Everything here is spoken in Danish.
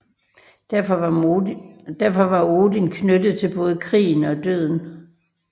Derfor var Odin knyttet til både krigen og døden